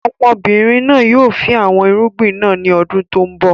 Ọmọbìnrin náà yìí ó fin àwọn irúgbìn náà ńi ọdún tòun bọ̀